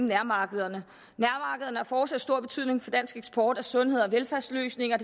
nærmarkederne har fortsat stor betydning for dansk eksport af sundheds og velfærdsløsninger